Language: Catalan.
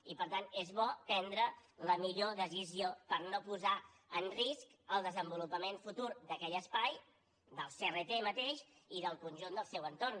i per tant és bo prendre la millor decisió per no posar en risc el desenvolupament futur d’aquell espai del crt mateix i del conjunt del seu entorn